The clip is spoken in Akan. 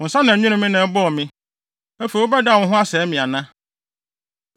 “Wo nsa na ɛnwenee me na ɛbɔɔ me. Afei wobɛdan wo ho asɛe me ana?